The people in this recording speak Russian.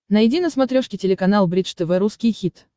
найди на смотрешке телеканал бридж тв русский хит